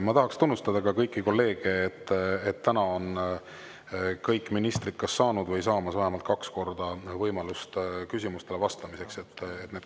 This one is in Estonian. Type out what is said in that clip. Ma tahan tunnustada kõiki kolleege selle eest, et täna on kõik ministrid kas saanud või saamas vähemalt kaks korda küsimustele vastata.